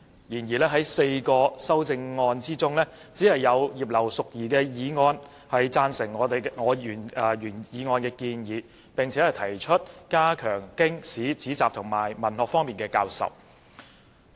然而，在4項修正案之中，只有葉劉淑儀議員的修正案贊成我原議案的建議，並提出加強經史子集及文學方面的教授。